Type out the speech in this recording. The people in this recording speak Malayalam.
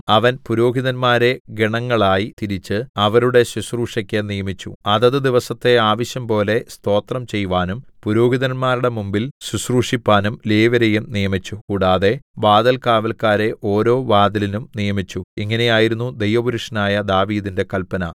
അവൻ പുരോഹിതന്മാരെ ഗണങ്ങളായി തിരിച്ച് അവരുടെ ശുശ്രൂഷക്ക് നിയമിച്ചു അതത് ദിവസത്തെ ആവശ്യംപോലെ സ്തോത്രം ചെയ്‌വാനും പുരോഹിതന്മാരുടെ മുമ്പിൽ ശുശ്രൂഷിപ്പാനും ലേവ്യരേയും നിയമിച്ചു കൂടാതെ വാതിൽകാവല്ക്കാരെ ഓരോ വാതിലിനും നിയമിച്ചു ഇങ്ങനെയായിരുന്നു ദൈവപുരുഷനായ ദാവീദിന്റെ കല്പന